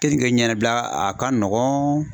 Keninke ɲɛnabila a ka nɔgɔn